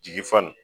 Jigi fa n